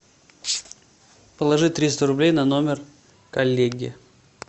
положи триста рублей на номер коллеги